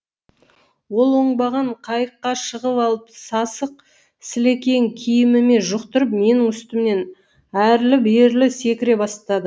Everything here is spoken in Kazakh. ол оңбаған қайыққа шығып алып сасық сілекейін киіміме жұқтырып менің үстімнен әрлі берлі секіре бастады